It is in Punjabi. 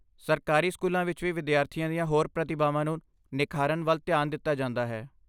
ਸਰਕਾਰੀ ਸਕੂਲਾਂ ਵਿੱਚ ਵੀ ਵਿਦਿਆਰਥੀਆਂ ਦੀਆਂ ਹੋਰ ਪ੍ਰਤਿਭਾਵਾਂ ਨੂੰ ਨਿਖਾਰਨ ਵੱਲ ਧਿਆਨ ਦਿੱਤਾ ਜਾਂਦਾ ਹੈ।